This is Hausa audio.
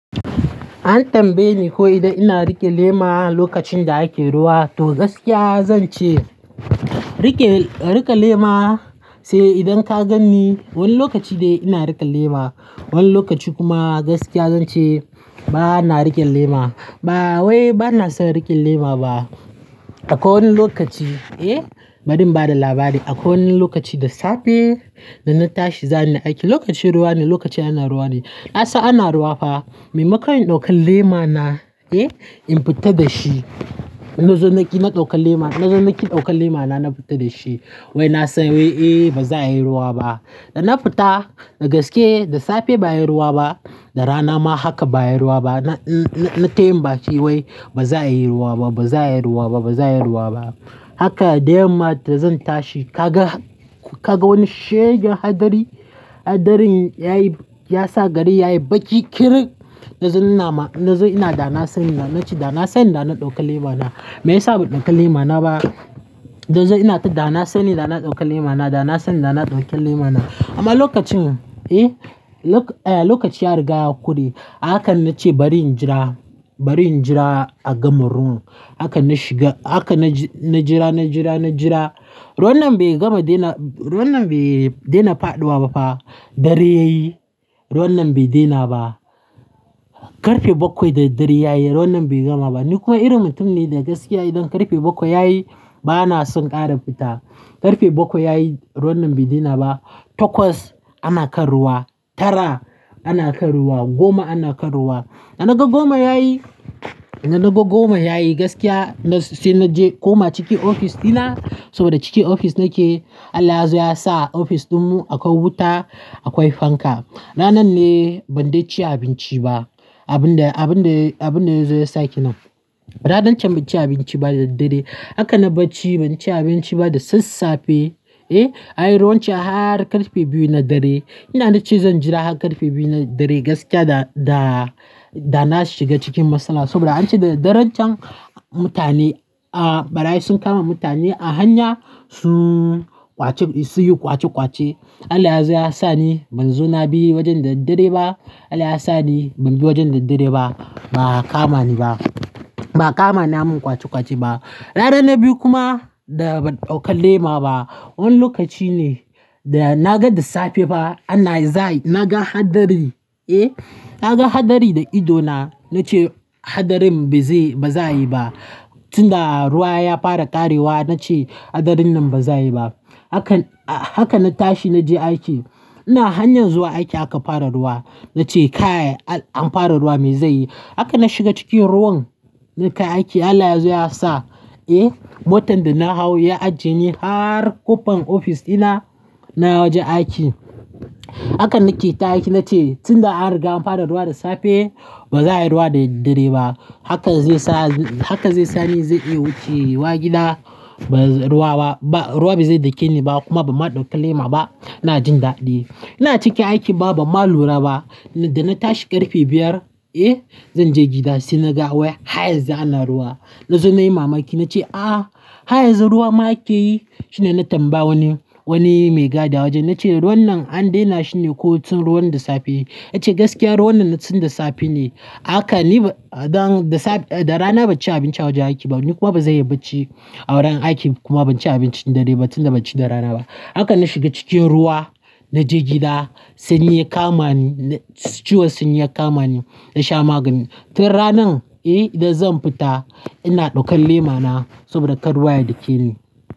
An tambaye ni ko idan ina riƙe lema lokacin da ake ruwa, to gaskiya zan ce riƙe, riƙe lema sai idan ka ganni wani lokaci dai ina riƙe lema. Wani lokaci kuma gaskiya zan ce bana riƙe lema. Ba wai bana son riƙe lema ba. Akwai wani lokaci, eh, bari in ba da labari. Akwai wani lokaci da safe da na tashi zani aiki, lokacin ruwa ne, lokacin ana ruwa ne. Na san ana ruwa fa, maimakon in ɗauki lema na, eh, in fita da shi. Na zo naki na ɗauka lema, na zo naki ɗauka lema na, na fita da shi. Wai na san wai eh ba za a yi ruwa ba. Da na fita, da gaske, da safe ba a yi ruwa ba, da rana ma haka ba a yi ruwa ba. Na, na, na tayin baki wai ba za a yi ruwa ba, ba za a yi ruwa ba, ba za a yi ruwa ba. Haka da yamma da zan tashi ka ga, ka ga wani shegen hadari. Hadarin ya yi, ya sa gari ya yi baki kirin. Na zo inama, na zo ina dana sani na, na ce dana sani da na ɗauka lema na. Me yasa ban ɗauka lema na ba? Dan zo ina ta dana sani da na ɗauka lema na, dana sani da na ɗauka lema na. Amma lokacin, eh, eh, lokaci ya riga ya kure. Ahaka na ce bari in jira, bari in jira a gama ruwan. Haka na shiga, haka na ji, na jira, na jira, na jira. Ruwan nan bai gama daina, ruwan nan bai daina faɗuwa ba fa. Dare ya yi, ruwan nan bai daina ba. Karfe bakwai da dare ya yi, ruwan nan bai gama ba. Ni kuma irin mutum ne da gaskiya idan karfe bakwai ya yi bana son ƙara fita. Karfe bakwai ya yi, ruwan nan bai daina ba. Takwas ana kan ruwa, tara ana kan ruwa, goma ana kan ruwa. Da naga goma ya yi, da naga goma ya yi gaskiya na ce na je kuma ciki ofis dina saboda ciki ofis nake. Allah ya zo ya sa ofis ɗinmu akwai wuta, akwai fanka. Ranar ne ban dai ci abinci ba. Abun da, abun da, abun da ya zo ya sake nan. Ranar can ban ci abinci ba da daddare. Haka na bacci ban ci abinci ba da sassafe, eh, anyi ruwan can har karfe biyu na dare. Ina na ce zan jira har karfe biyu na dare gaskiya da, da, da na shiga cikin matsala saboda an ce da daddaren can mutane, ah, barayi sun kama mutane a hanya sun ƙwace, sun yi ƙwace ƙwace. Allah yazo ya sa ni ban zo na bi wajen da daddare ba. Allah ya sa ni ban bi wajen da daddare ba. Ba a kama ni ba. Ba a kama ni an mun ƙwace ƙwace ba. Ranar na biyu kuma da ban ɗauka lema ba. Wani lokaci ne da naga da safe fa ana zai, naga hadari, eh, naga hadari da ido na. Na ce hadarin ba zai, ba za yi ba. Tun da ruwa ya fara ƙarewa na ce hadarin nan ba za yi ba. Haka, haka na tashi na je aiki. Ina hanyar zuwa aiki aka fara ruwa. Na ce kai an fara ruwa me zai yi? Haka na shiga cikin ruwan natai aiki. Allah yazo ya sa, eh, motan da na hau ya ajiye ni har ƙofar ofis dina na wajen aiki. Haka nake ta aiki na ce tun da an riga an fara ruwa da safe ba za a yi ruwa da daddare ba. Haka zai sa, haka zai sa ni zai iya wuce gida ba ruwa ba, ba ruwa ba zai dake ni ba kuma ban ma doka lema ba. Na jin daɗi. Ina cikin aiki ba ban ma lura ba. Da na tashi karfe biyar, eh, zan je gida sai naga wai har yanzu ana ruwa. Na zo na yi mamaki na ce a'a har yanzu ruwa ma ake yi. Shine na tambaya wani, wani mai gadi a wajen. Na ce ruwan nan an daina shi ne ko tun ruwan da safe? Ya ce gaskiya ruwan nan na tun da safe ne. Haka ni don da safe, da rana ban ci abinci a wajen aiki ba. Ni kuma ba zanyi bacci a wurin aiki kuma ban ci abinci dare ba tun da ban ci da rana ba. Haka na shiga cikin ruwa na je gida sanyi ya kama ni. Ciwon sanyi ya kama ni. Na sha magani. Tun ranan, eh, idan zan fita ina ɗaukan lema na saboda kar ruwa ya dake ni.